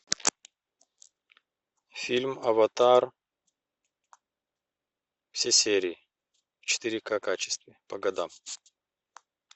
фильм аватар все серии в четыре ка качестве по годам